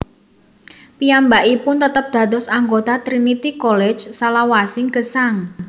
Piyambakipun tetep dados anggota Trinity College salawasing gesang